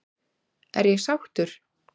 Er ég sáttur?